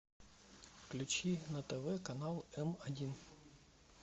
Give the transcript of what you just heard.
включи на тв канал м один